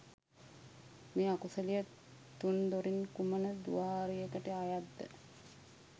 මේ අකුසලය තුන් දොරින් කුමන ද්වාරයකට අයත්ද?